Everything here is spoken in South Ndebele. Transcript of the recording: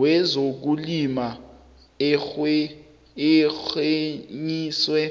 wezokulima arhenyiswe